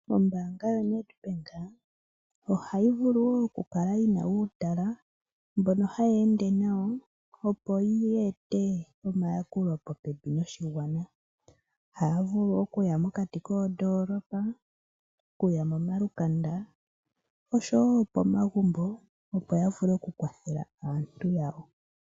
Ombaanga yoNedbank ohayi vulu wo okukala yi na uutala mbono hayi ende nayo, opo yi ete omayakulo popepi noshigwana. Ohaya vulu okuya mokati koondoolopa, okuya momalukanda osho wo pomagumbo, opo ya vule okukwathela aantu yawo.